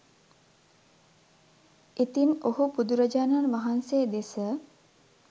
ඉතින් ඔහු බුදුරජාණන් වහන්සේ දෙස